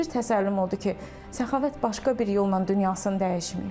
Bir təsəlli o idi ki, Səxavət başqa bir yolla dünyasını dəyişməyib.